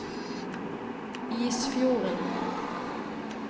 Isfjorden